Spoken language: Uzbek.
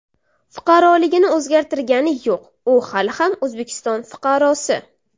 Fuqaroligini o‘zgartirgani yo‘q, u hali ham O‘zbekiston fuqarosi.